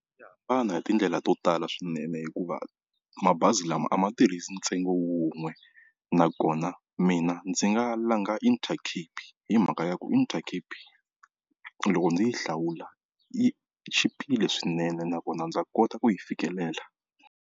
Ya hambana hi tindlela to tala swinene, hikuva mabazi lama a ma tirhisi ntsengo wun'we nakona mina ndzi nga langa Intercape hi mhaka ya ku Intercape loko ndzi yi hlawula yi chipile swinene nakona ndza kota ku yi fikelela.